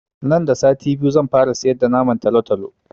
Nan da sati biyu zan fara siyar da naman talatalo